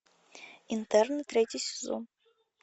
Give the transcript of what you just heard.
интерны третий сезон